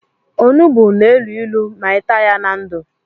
Ọnụgbu na élú ịlụ ma i taa ya na ndụ.